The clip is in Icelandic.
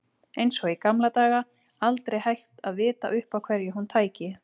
Eins og í gamla daga, aldrei hægt að vita upp á hverju hún tæki.